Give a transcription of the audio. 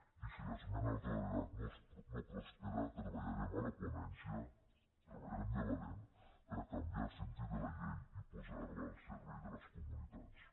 i si l’esmena a la totalitat no prospera treballarem a la ponència treballarem de valent per a canviar el sentit de la llei i posar la al servei de les comunitats